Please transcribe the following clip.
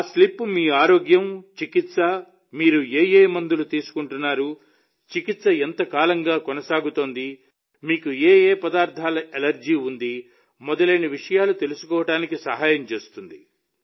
ఆ స్లిప్ మీ అనారోగ్యం చికిత్స మీరు ఏ మందులు తీసుకుంటున్నారు చికిత్స ఎంతకాలంగా కొనసాగుతోంది మీకు ఏ పదార్థాల అలెర్జీ ఉంది మొదలైన విషయాలు తెలుసుకోవడానికి సహాయం చేస్తుంది